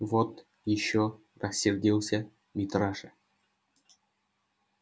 вот ещё рассердился митраша